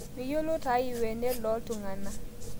Miyiolou taa lwenet loltungana